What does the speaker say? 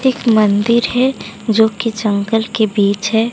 एक मंदिर है जो की जंगल के बीच है।